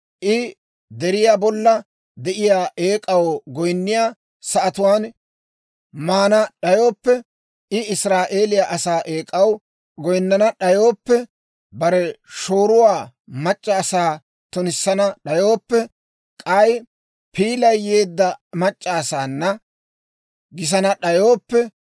I deriyaa bolla de'iyaa eek'aw goyinniyaa sa'atuwaan maana d'ayooppe, I Israa'eeliyaa asaa eek'aw goyinnana d'ayooppe, bare shooruwaa mac'c'a asaa tunissana d'ayooppe, k'ay piilay yeedda mac'c'aasaanna gisana d'ayooppe,